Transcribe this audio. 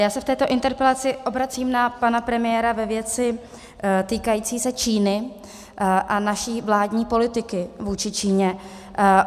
Já se v této interpelaci obracím na pana premiéra ve věci týkající se Číny a naší vládní politiky vůči Číně.